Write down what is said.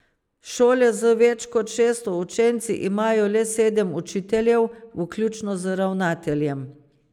Šole z več kot šeststo učenci imajo le sedem učiteljev, vključno z ravnateljem.